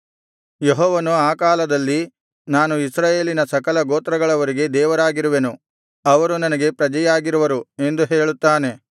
ಯೆಹೋವನು ಆ ಕಾಲದಲ್ಲಿ ನಾನು ಇಸ್ರಾಯೇಲಿನ ಸಕಲ ಗೋತ್ರಗಳವರಿಗೆ ದೇವರಾಗಿರುವೆನು ಅವರು ನನಗೆ ಪ್ರಜೆಯಾಗಿರುವರು ಎಂದು ಹೇಳುತ್ತಾನೆ